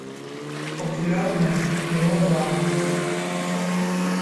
популярные мелодрамы